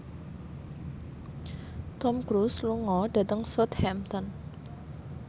Tom Cruise lunga dhateng Southampton